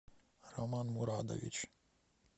роман мурадович